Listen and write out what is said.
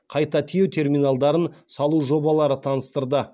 қайта тиеу терминалдарын салу жобалары таныстырды